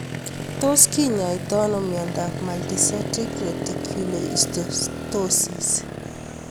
Tos kinyaitoi ano miondop multicentric reticulohistiocytosis